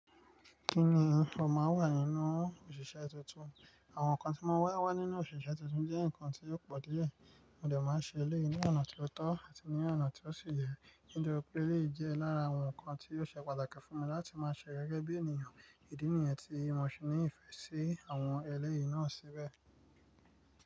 Kí ni ó máa ń wà nínú òṣìṣẹ́ tuntun? Àwọn nǹkan tí mo wá wá nínú òṣìṣẹ́ tuntun jẹ́ nǹkan tí ó pọ̀ díẹ̀, mo dẹ̀ máa ṣe eléyìí ní ọ̀nà tí ó tọ́ àti ní ọ̀nà tí ó sì yẹ. Mo dẹ̀ rò pé èléyìí jẹ́ lára àwọn nǹkan tí yóò ṣe pàtàkì fún mi láti máa ṣe gẹ́gẹ́ bí ènìyàn. Ìdí nìyẹn tí mo se ní ìfẹ́ sí àwọn eléyìí náà síbẹ̀.